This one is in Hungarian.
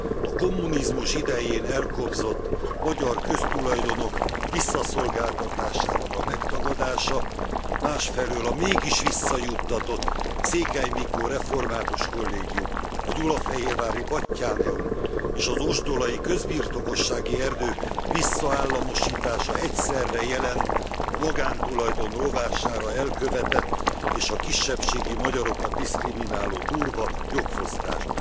A kommunizmus idején elkobzott magyar köztulajdonok visszaszolgáltatásának a megtagadása, másfelől a mégis visszajuttatott Székely Mikó Református Kollégium, a gyulafehérvári Batthyáneum és az ozsdolai közbirtokossági erdők visszaállamosítása egyszerre jelent a magántulajdon rovására elkövetett és a kisebbségi magyarokat diszkrimináló durva jogfosztást.